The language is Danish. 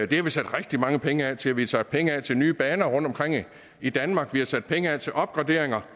det har vi sat rigtig mange penge af til vi har sat penge af til nye baner rundtomkring i danmark vi har sat penge af til opgraderinger